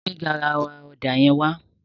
Gbé garawa ọ̀dà yẹn wá.